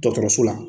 Dɔgɔtɔrɔso la